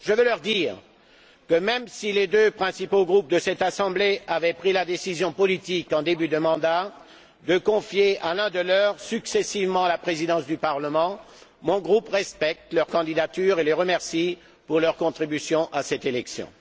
Je veux leur dire que, même si les deux principaux groupes de cette Assemblée avaient pris la décision politique en début de mandat de confier à l'un des leurs successivement la Présidence du Parlement, mon groupe respecte leur candidature et les remercie pour leur contribution à cette élection.